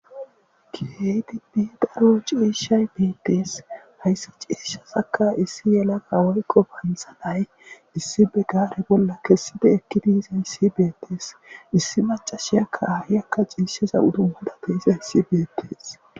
Kiredi dii daro ciishay beettees hayssa ciishasaka issi yelaga woykko pansanay issi be gaare bolla kesside ekki diiza issibeettees issi macashiyakka hayakka ciisheza uduhudate iza yssibeettees.